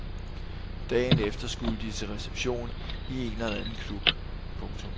Dagen efter skulle de til reception i en eller anden klub. punktum